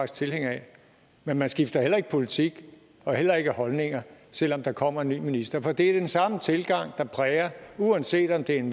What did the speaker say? tilhænger af men man skifter heller ikke politik og heller ikke holdninger selv om der kommer en ny minister for det er den samme tilgang der præger uanset om det er en